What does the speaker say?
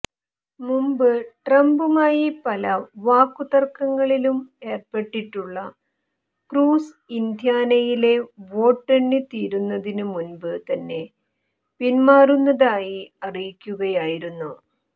മുമ്പ് ട്രംപുമായി പല വാക്കുതര്ക്കങ്ങളിലും ഏര്പ്പെട്ടിട്ടുള്ള ക്രൂസ് ഇന്ത്യാനയിലെ വോട്ടു എണ്ണി തീരുന്നതിന് മുമ്പ് തന്നെ പിന്മാറുന്നതായി അറിയിക്കുകയായിരുന്നു